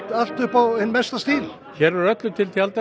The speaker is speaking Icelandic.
allt upp á hinn mesta stíl öllu til tjaldað